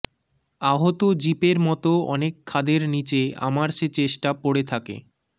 আহত জিপের মতো অনেক খাদের নীচে আমার সে চেষ্টা পড়ে থাকে